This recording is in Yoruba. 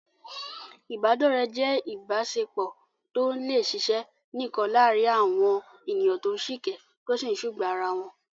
Ìbádọ́rẹ̀ẹ́ jẹ́ ìbáṣepọ̀ tó lè ṣiṣẹ́ nìkan láàárín àwọn ènìyàn tó ń sìkẹ́, tó sì ń sùgbàá ara wọn.